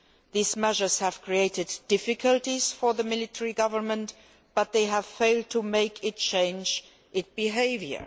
These measures have created difficulties for the military government, but they have failed to make it change its behaviour.